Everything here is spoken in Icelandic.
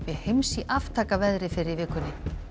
heims í aftakaveðri fyrr í vikunni